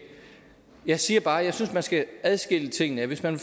jeg siger bare at jeg synes man skal adskille tingene ad hvis man